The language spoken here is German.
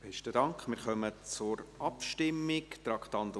Wir kommen zur Abstimmung, Traktandum 66.